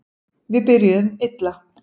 Við byrjuðum illa